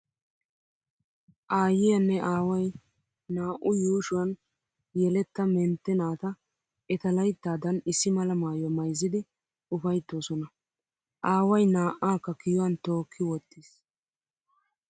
Aayyiya nne aaway naa"u yuushuwan yeletta mentte naata eta layttaadan issi mala maayuwa mayzzidi ufayttoosona. Aaway naa"aakka kiyiyuwan tookki wottiis.